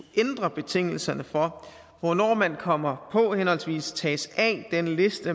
ændre betingelserne for hvornår man kommer på henholdsvis tages af den liste